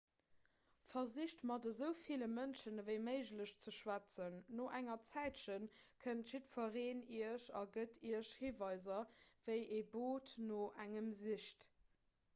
versicht mat esou ville mënschen ewéi méiglech ze schwätzen no enger zäitche kennt jiddwereen iech a gëtt iech hiweiser wéi ee boot no engem sicht